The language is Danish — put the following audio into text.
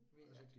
Ved at